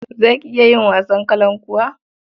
Za ki iya yin wasan kalankuwa?